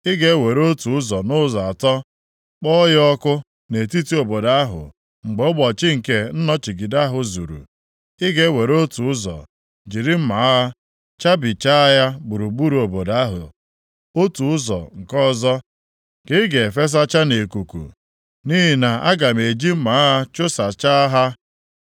Ị ga-ewere otu ụzọ nʼụzọ atọ, kpọọ ya ọkụ nʼetiti obodo ahụ mgbe ụbọchị nke nnọchigide ahụ zuru; ị ga-ewere otu ụzọ, jiri mma agha chabichaa ya gburugburu obodo ahụ, otu ụzọ nke ọzọ ka ị ga-efesacha nʼikuku. Nʼihi na aga m eji mma agha chụsachaa ha.